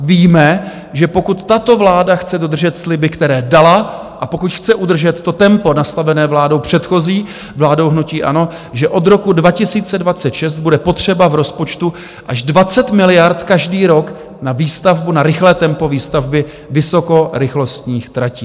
Víme, že pokud tato vláda chce dodržet sliby, které dala, a pokud chce udržet to tempo nastavené vládou předchozí, vládou hnutí ANO, že od roku 2026 bude potřeba v rozpočtu až 20 miliard každý rok na výstavbu, na rychlé tempo výstavby vysokorychlostních tratí.